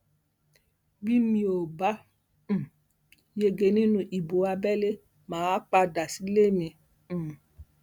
bí mi ò bá um yege nínú ìbò abẹlé mà á padà sílé mi um